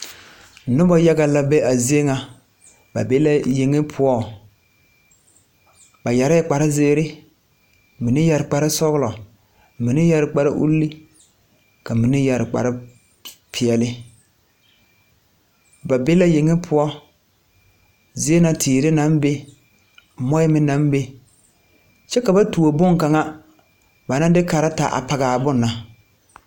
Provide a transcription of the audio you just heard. Nobɔ yaga la be a zie ŋa ba be la yeŋe poɔŋ ba yɛreɛɛ kparezeere mine yɛre kparesɔglɔ mine yɛre kpare ulle ka mine yɛre kparepeɛɛli ba be la yeŋe poɔ zie na teere naŋ be moɔɛ meŋ naŋ be kyɛ ka ba tuo bon kaŋa ba naŋ de karetaa a pɔgaa bon na.